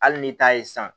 Hali ni taa ye san